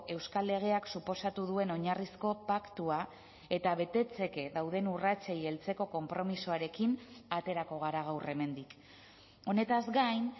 euskal legeak suposatu duen oinarrizko paktua eta betetzeke dauden urratsei heltzeko konpromisoarekin aterako gara gaur hemendik honetaz gain